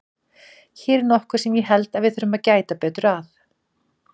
Hér er nokkuð sem ég held að við þurfum að gæta betur að.